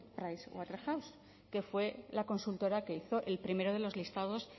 pricewaterhouse que fue la consultora que hizo el primero de los listados